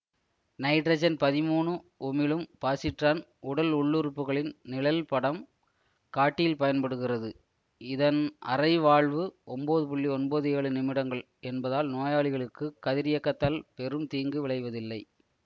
nitrogen பதிமூனு உமிழும் positron உடல் உள்ளுறுப்புகளின் நிழல் படம் காட்டியில் பயன்படுகிறதுஇதன் அரை வாழ்வு ஒன்பது புள்ளி ஒன்பது ஏழு நிமிடங்கள் என்பதால் நோயாளிகளுக்குக் கதிரியக்கத்தால் பெரும் தீங்கு விளைவதில்லை